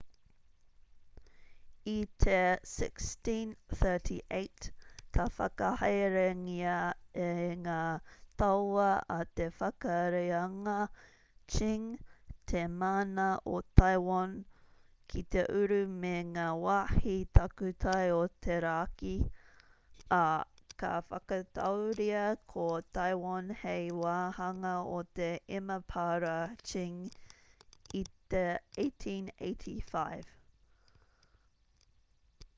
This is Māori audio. i te 1638 ka whakahaerengia e ngā tauā a te whakareanga qing te mana o taiwan ki te uru me ngā wāhi takutai o te raki ā ka whakatauria ko taiwan hei wāhanga o te emapara qing i te 1885